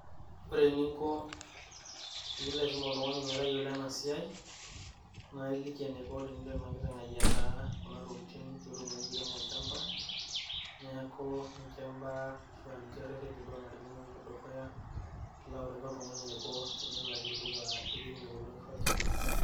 Ore eninko piilo aisum oltung'ani metayiolo ena siai naa iliki eniko enakiteng' ayietaa kuna tokiting piitumoki airemo olchamba. Neeku ninche imbaak ashu ninche irreteni naanarikino piipik dukuya ilo autaki oltung'ani eniko tenelo airemie kuna kishu olchamba